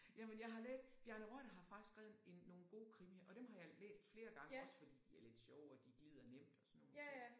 Jamen jeg har læst Bjarne Reuter har faktisk skrevet en nogle gode krimier og dem har jeg læst flere gange også fordi de er lidt sjove og de glider nemt og sådan nogle ting